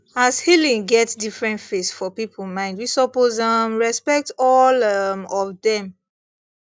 as healing get different face for people mind we suppose um respect all um of dem